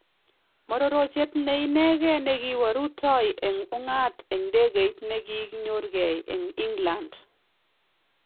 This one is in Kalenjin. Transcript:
Mororochet ne inekei nekiwe rutoy en ung'at en ndekeit nekinyorkee en England